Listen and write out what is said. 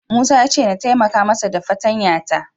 Musa ya ce na taimaka masa fartanya ta.